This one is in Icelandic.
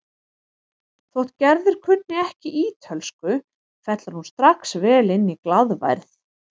Þótt Gerður kunni ekki ítölsku fellur hún strax vel inn í glaðværð